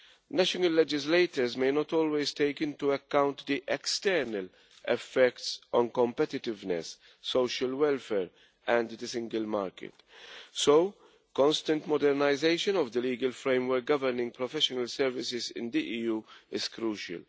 National legislators may not always take into account the external effects on competitiveness, social welfare and the single market. So constant modernisation of the legal framework governing professional services in the EU is crucial.